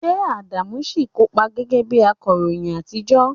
Ṣé Adamu ṣì ń kópa gẹ́gẹ́ bí akọ̀ròyìn àtijọ́?